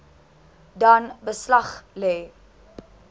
dan beslag lê